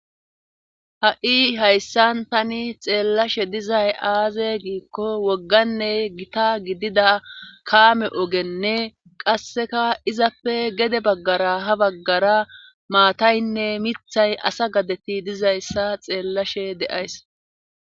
ha7i hayssan tani xeellashe dizay aaze giikko wogganney gita gidida kaame ogenne qasseka izappe gede baggara ha baggara maataynne mithay asa gadeti dizayssa xeellashe de7ays